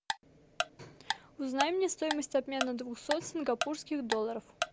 узнай мне стоимость обмена двухсот сингапурских долларов